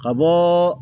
Ka bɔɔ